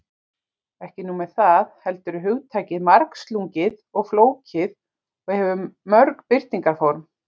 Ekki nóg með það, heldur er hugtakið margslungið og flókið og hefur mörg birtingarform.